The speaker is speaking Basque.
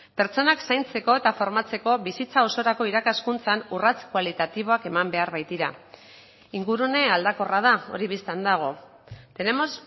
pertsonak zaintzeko eta formatzeko bizitza osorako irakaskuntzan urrats kualitatiboak eman behar baitira ingurune aldakorra da hori bistan dago tenemos